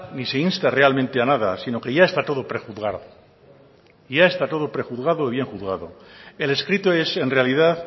ni se insta realmente a nada sino que ya está todo prejuzgado ya está todo prejuzgado y bien juzgado el escrito es en realidad